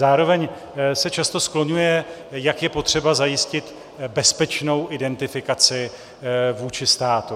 Zároveň se často skloňuje, jak je potřeba zajistit bezpečnou identifikaci vůči státu.